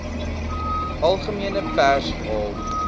algemene pers haal